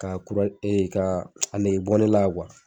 K'a kura k'aa a negebɔ ne la